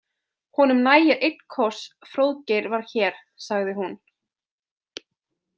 Honum nægir einn koss fr óðgeir var hér, sagði hún.